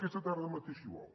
aquesta tarda mateix si vol